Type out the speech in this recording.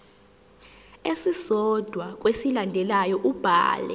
esisodwa kwezilandelayo ubhale